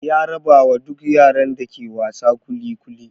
Ya rabawa duk yaran da ke wasa kuli kuli.